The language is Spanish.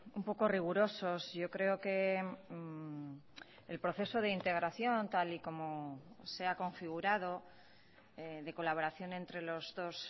un poco rigurosos yo creo que el proceso de integración tal y como se ha configurado de colaboración entre los dos